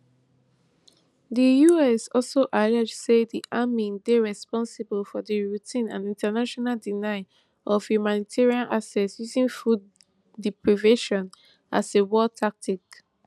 di us also allege say di army dey responsible for di routine and in ten tional denial of humanitarian access using food deprivation as a war tactic